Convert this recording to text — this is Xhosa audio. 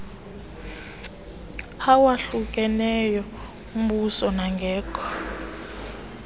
awahlukeneyo ombuso nangekho